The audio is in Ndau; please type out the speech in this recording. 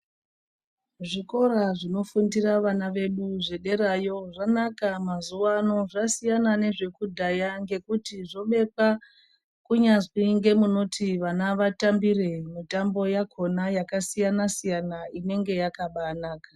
Zvikora zvinofundira vana zvederayo zvanaka mazuva ano zvasiyana nezvekudhaya nekuti zvobekwa kunyazwi nemunoti vana vatambire mitambo yakona yakasiyana siyana inenge yakaba naka.